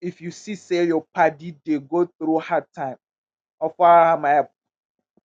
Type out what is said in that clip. if yu see say yur padi dey go thru hard time offer am help.